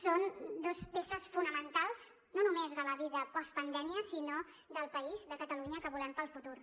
són dues peces fonamentals no només de la vida postpandèmia sinó del país de catalunya que volem per al futur